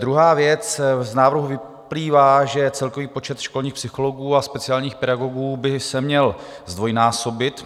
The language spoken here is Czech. Druhá věc, z návrhu vyplývá, že celkový počet školních psychologů a speciálních pedagogů by se měl zdvojnásobit.